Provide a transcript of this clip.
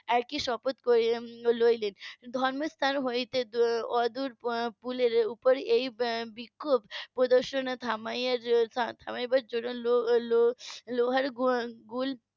একই শপথ করলেন নিলেন ধর্মস্থান হতে অদূরে পুলের উপর এই বিক্ষোভ প্রদর্শন থামাবার জন্য লোহার লোহার গুল